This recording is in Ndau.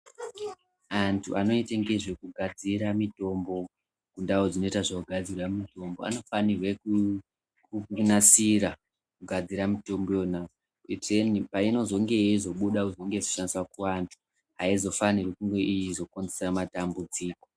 Antu anoite ngezvekugadzira mutombo kundau dzinoita zvekudadzirwa mitombo. Anofanire kunasira kugadzire mutombo iyona. Kuitireni painozonge yeizobuda yeizonge yeizokwanisa kuvanda haizofaniri kunge yeizokonzeresa matambudziko.